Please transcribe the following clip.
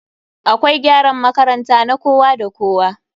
Akwai gyaran makaranta na kowa da kowa.